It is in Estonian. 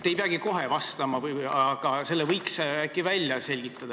Te ei peagi kohe vastama, aga selle võiks äkki välja selgitada.